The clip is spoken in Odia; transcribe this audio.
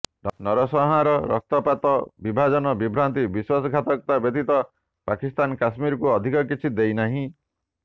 ନରସଂହାର ରକ୍ତପାତ ବିଭାଜନ ବିଭ୍ରାନ୍ତି ଓ ବିଶ୍ବାସଘାତକତା ବ୍ୟତୀତ ପାକିସ୍ତାନ କାଶ୍ମୀରକୁ ଅଧିକ କିଛି ଦେଇନାହିଁ